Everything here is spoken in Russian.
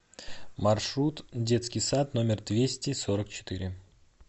маршрут детский сад номер двести сорок четыре